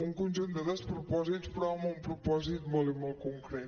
un conjunt de despropòsits però amb un propòsit molt i molt concret